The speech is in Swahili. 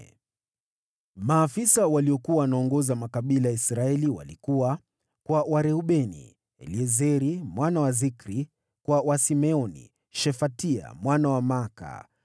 Maafisa waliokuwa wanaoongoza makabila ya Israeli walikuwa: Kwa Wareubeni: Eliezeri mwana wa Zikri; kwa Wasimeoni: Shefatia mwana wa Maaka;